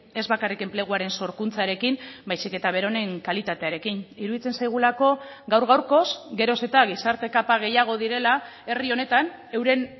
ez bakarrik enpleguaren sorkuntzarekin baizik eta beronen kalitatearekin iruditzen zaigulako gaur gaurkoz geroz eta gizarte kapa gehiago direla herri honetan euren